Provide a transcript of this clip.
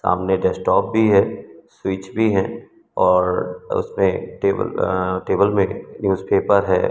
सामने डेस्कटॉप भी है स्विच भी है और उसपे टेबल अ टेबल में न्यूजपेपर है।